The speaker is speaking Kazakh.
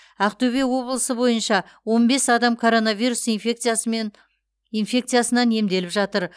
ақтөбе облысы бойынша он бес адам коронавирус инфекциясынан емделіп жатыр